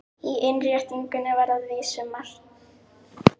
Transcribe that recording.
Í innréttingunni var að vísu margt vandað, en sumt var frá upphafi ófullkomið.